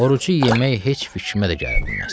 Orucu yemək heç fikrimə də gələ bilməz.